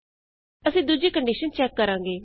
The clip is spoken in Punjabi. ਅਸੀਂ ਦੂਜੀ ਕੰਡੀਸ਼ਨ ਚੈਕ ਕਰਾਂਗੇ